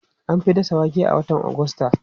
An fi dasa wake a watan Agusta.